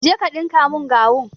Je ka dinka mun gawun!